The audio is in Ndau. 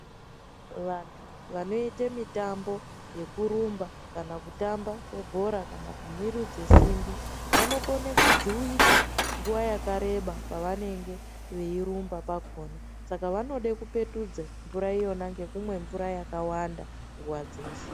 Vantu vanoita mitambo yekurumba kana kutamba kwebhora kana kumurudza simbi vanokona kujuwika nguwa yakareba pavanenge veirumba pakona pavanoda kupetudza mvura yona yakawanda nguwa dzeshe.